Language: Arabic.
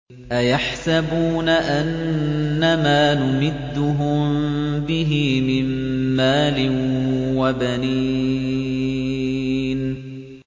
أَيَحْسَبُونَ أَنَّمَا نُمِدُّهُم بِهِ مِن مَّالٍ وَبَنِينَ